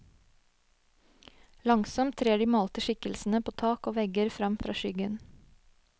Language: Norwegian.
Langsomt trer de malte skikkelsene på tak og vegger frem fra skyggen.